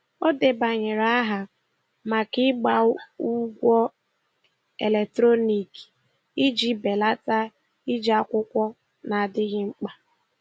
Ọ debanyere aha maka ịgba ụgwọ eletrọniki iji belata iji akwụkwọ na-adịghị mkpa.